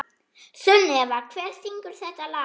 Sunneva, hver syngur þetta lag?